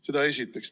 Seda esiteks.